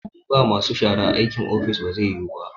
In ba masu shara, aikin ofis ba zai yiwu ba